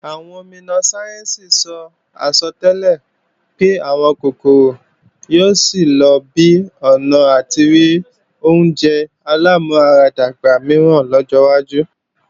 Àwọn onímọ̀ sáyẹ́ǹsì sọ àsọtẹ́lẹ̀ pé àwọn kòkòrò yóò ṣeé lò bi ọ̀nà àti rí oúnjẹ alámúaradàgbà míràn lọ́jọ́ wájú